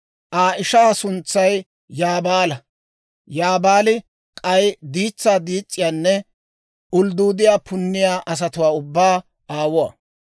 Aa ishaa suntsay Yuubaala; Yuubaali k'ay diitsaa diis's'iyaanne uldduudiyaa punniyaa asatuwaa ubbaa aawuwaa;